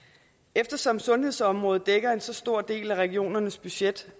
eftersom sundhedsområdet dækker en så stor del af regionernes budget